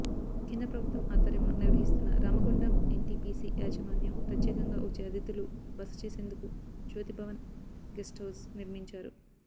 కేంద్ర ప్రభుత్వం ఆధ్వర్యంలో నిర్వహిస్తున్న రామగుండం ఎన్టీపీసీ యాజమాన్యం ప్రత్యేకంగా వచ్చే అతిథులు బస చేసేందుకు జ్యోతిభవన్ గెస్ట్హౌజ్ నిర్మించారు